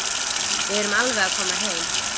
Við erum alveg að koma heim.